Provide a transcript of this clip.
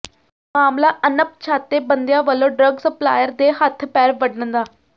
ਮਾਮਲਾ ਅਣਪਛਾਤੇ ਬੰਦਿਆਂ ਵਲੋਂ ਡਰੱਗ ਸਪਲਾਇਰ ਦੇ ਹੱਥ ਪੈਰ ਵੱਢਣ ਦਾ